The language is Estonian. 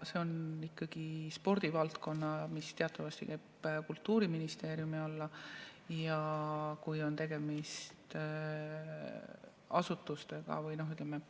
See on ikkagi spordivaldkond, mis teatavasti käib Kultuuriministeeriumi alla, ja kui on tegemist, ütleme,